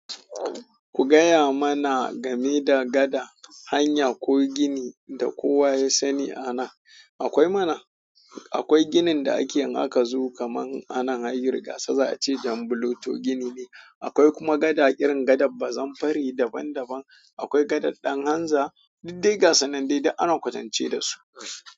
Ku gaya mana game da gada, hanya ko gini da kowa ya sani a nan. Akwai mana, akwai ginin da ake in aka zo kamar anan hayin rigasa za a ce Janbluto gini ne. Akwai kuma gada irin gadar Bazamfari daban daban. Akwai gadar Danhanza, diddai ga sunanne dai duk ana kwatance da su.